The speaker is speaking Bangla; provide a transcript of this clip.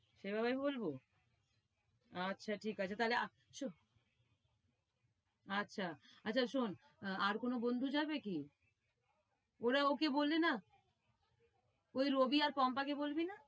সেভাবেই বলবো? আচ্ছা ঠিক আছে। তাইলে আচ্ছা শোন, আর কোনো বন্ধু যাবে কি? ওরা ওকে বলবে না? ঐ রবি আর পম্পাকে বলবি না?